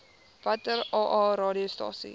watter aa radiostasies